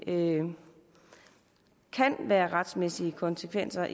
kan være retssikkerhedsmæssige konsekvenser